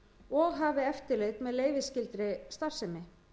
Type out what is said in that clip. og hafi eftirlit með leyfisskyldri starfsemi